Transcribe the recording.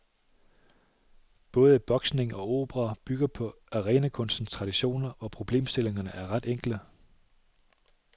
Både boksning og opera bygger på arenakunstens traditioner, hvor problemstillingerne er ret enkle.